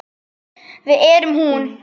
Við erum hún.